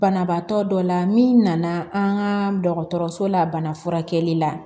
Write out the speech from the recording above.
Banabaatɔ dɔ la min nana an ka dɔgɔtɔrɔso la bana furakɛli la